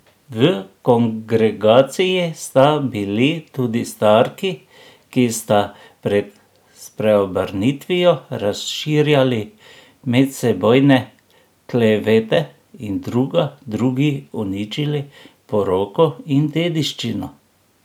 V kongregaciji sta bili tudi starki, ki sta pred spreobrnitvijo razširjali medsebojne klevete in druga drugi uničili poroko in dediščino.